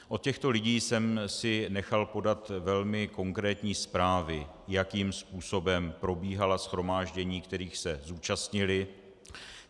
Od těchto lidí jsem si nechal podat velmi konkrétní zprávy, jakým způsobem probíhala shromáždění, kterých se zúčastnili.